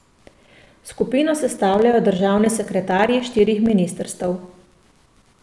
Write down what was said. Skupino sestavljajo državni sekretarji štirih ministrstev.